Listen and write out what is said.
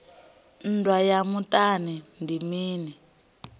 nndwa ya muṱani ndi mini